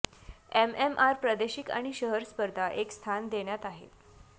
MMR प्रादेशिक आणि शहर स्पर्धा एक स्थान देण्यात आहे